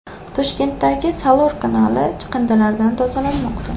Toshkentdagi Salor kanali chiqindilardan tozalanmoqda .